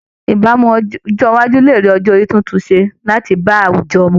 Ìbámu ọjọ́ iwájú lè rí ọjọ́ orí titun ṣe láti bá àwùjọ mu